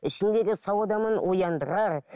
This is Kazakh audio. ішінде де сау адамның ояндырар